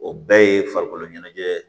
O bɛɛ ye farikolo ɲɛnajɛ ye